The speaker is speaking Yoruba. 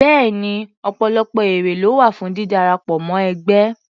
Bẹ́ẹ̀ni, ọ̀pọ̀lọpọ̀ èrè ló wà fún dídarapọ̀ mọ́ ẹgbẹ́.